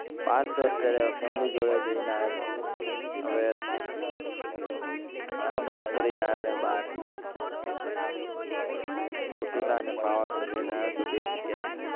બહાર તો અત્યારે family જોડે જઈને આયો હવે આ હમણાં જ ફરી ન આયો બહાર ચોટીલા અને પાવાગઢ જઈને આયો તો બે જગ્યાએ